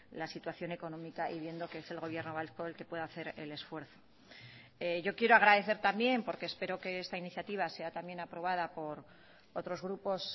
la situación económica y viendo que es el gobierno vasco el que puede hacer el esfuerzo yo quiero agradecer también porque espero que esta iniciativa sea también aprobada por otros grupos